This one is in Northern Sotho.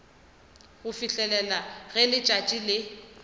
go fihlela ge letšatši le